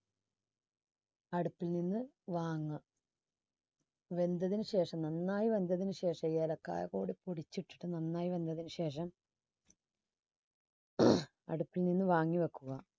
അടുപ്പിൽ നിന്ന് വാങ്ങുക. വെന്തതിനു ശേഷം നന്നായി വെന്തത്തിന്ശേഷവും ഇളക്കാതെ നന്നായി വെന്തതിനു ശേഷം അടുപ്പിൽ നിന്ന് വാങ്ങി വയ്ക്കുക.